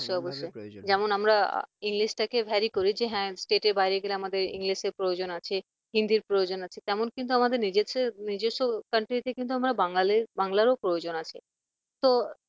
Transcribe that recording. অবশ্যই অবশ্যই যেমন আমরা english টাতে vary করি যে হ্যাঁ state বাইরে গেলে আমাদের english র প্রয়োজন আছে হিন্দির প্রয়োজন আছে তেমন কিন্তু আমাদের নিজেদের নিজস্ব Country কিন্তু আমরা বাঙালি বাংলারও প্রয়োজন আছে তো